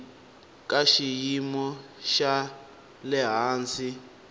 ka xiyimo xa le hansi